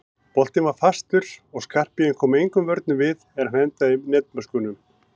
Boltinn var fastur og Skarphéðinn kom engum vörnum við er hann endaði í netmöskvunum.